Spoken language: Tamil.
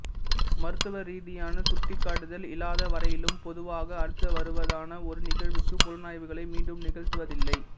மருத்துவ ரீதியான சுட்டிக்காட்டுதல் இலலாதவரையிலும் பொதுவாக அடுத்து வருவதான ஒரு நிகழ்வுக்கு புலனாய்வுகளை மீண்டும் நிகழ்த்துவதில்லை